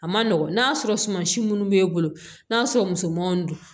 A ma nɔgɔn n'a sɔrɔ suma si minnu b'e bolo n'a sɔrɔ musomanw don